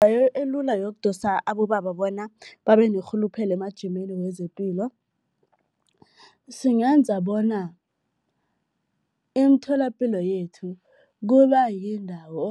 elula yokudosa abobaba bona babe nerhuluphelo emajimeni wezepilo, singenza bona imitholapilo yethu kuba yindawo